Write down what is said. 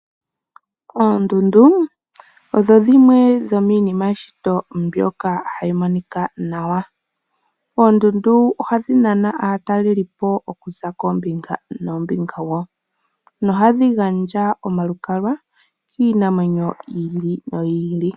Oondundu odho dhimwe dho miinima yeshito mbyoka hayi monika nawa. Oondundu ohadhi nana aatalelipo okuza koombinga noombinga, na ohadhi gandja omalukalwa kiinamwenyo yi ili noyi ili.